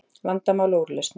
Vandamál og Úrlausnir